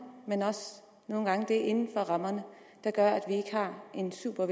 men også nogle gange det inden for rammerne der gør at vi ikke har en super